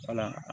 Fana